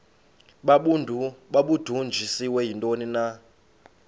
babudunjiswe yintoni na